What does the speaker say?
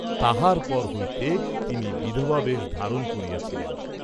তাহার পর হইতে তিনি বিধবাবেশ ধারণ করিয়াছিলেন।